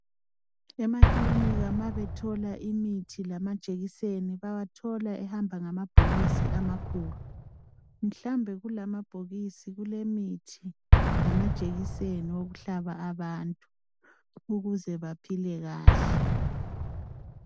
Emakilinika uma bethola imithi lamajekiseni bawathola ehamba ngamabhokisi amakhulu, mhlawumbe kulawa mabhokisi kulemithi lamajekiseni okuhlaba abantu ukuze bephile kahle.